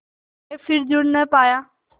के फिर जुड़ ना पाया